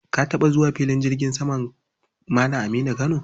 Ka taɓa zuwa filin jirgin saman Malam Aminu Kano?